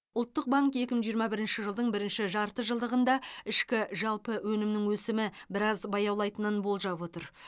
ұлттық банк екі мың жиырма бірінші жылдың бірінші жарты жылдығында ішкі жалпы өнімнің өсімі біраз баяулайтынын болжап отыр